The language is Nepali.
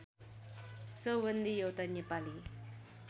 चौबन्दी एउटा नेपाली